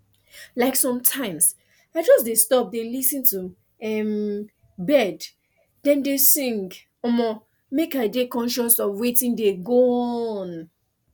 like sometimes i just dey stop dey lis ten to um bird dem dey sing um mek i dey conscious of wetin dey go on